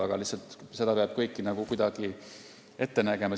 Aga seda kõike peab lihtsalt kuidagi ette nägema.